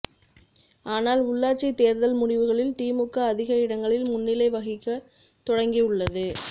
ஆனால் உள்ளாட்சி தேர்தல் முடிவுகளில் திமுக அதிக இடங்களில் முன்னிலை வகிக்க தொடங்கி உள்ளது